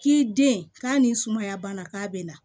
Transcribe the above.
K'i den k'a nin sumaya banna k'a bɛ na